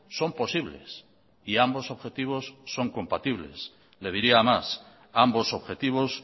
son posibles y ambos objetivos son compatibles le diría más ambos objetivos